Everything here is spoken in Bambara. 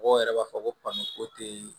Mɔgɔw yɛrɛ b'a fɔ ko ko te